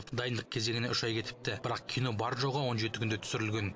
дайындық кезеңіне үш ай кетіпті бірақ кино бар жоғы он жеті күнде түсірілген